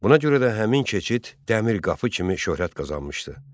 Buna görə də həmin keçid Dəmir qapı kimi şöhrət qazanmışdı.